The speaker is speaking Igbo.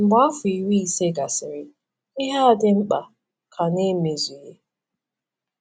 Mgbe afọ iri ise gasịrị, ihe a dị mkpa ka na-emezughị.